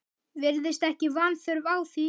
Virðist ekki vanþörf á því.